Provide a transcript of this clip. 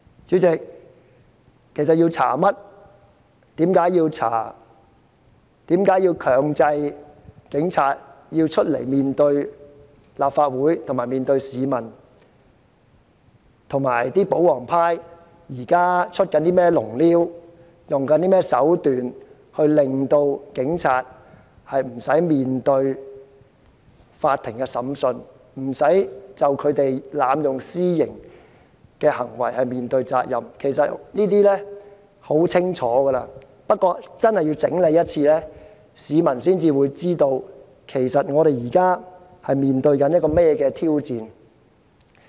主席，調查範圍、調查原因、強制警方前來面對立法會及市民的理由，以及保皇派現正利用甚麼手段令警方無須面對法庭審訊和濫用私刑的責任，其實全部都相當清楚，但我要整理一次，市民才會知道我們現正面對怎樣的挑戰。